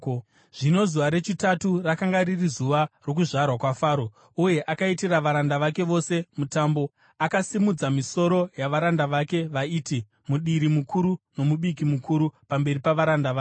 Zvino zuva rechitatu rakanga riri zuva rokuzvarwa kwaFaro, uye akaitira varanda vake vose mutambo. Akasimudza misoro yavaranda vake vaiti mudiri mukuru nomubiki mukuru pamberi pavaranda vake.